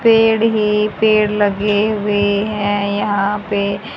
पेड़ हे पेड़ लगे हुए है यहां पे--